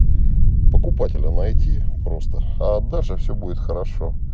покупателя найти просто а дальше все будет хорошо